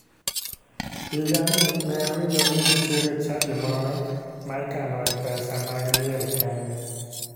Higani ne awinjo ni nitiere chadi moro ma ikanoe pesa mag liel kende.